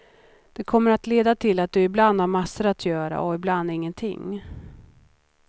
Det kommer att leda till att du ibland har massor att göra och ibland ingenting.